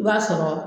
I b'a sɔrɔ